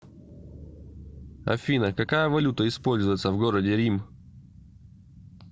афина какая валюта используется в городе рим